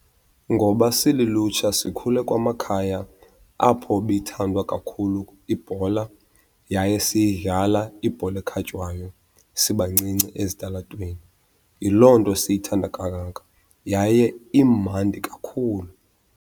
Ngoba silulutsha sikhule kwamakhaya apho ibithandwa kakhulu ibhola yaye siyidlala ibhola ekhatywayo sibancinci ezitalatweni. Yiloo nto siyithanda kangaka, yaye imandi kakhulu.